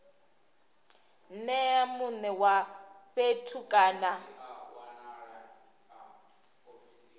nea mune wa fhethu kana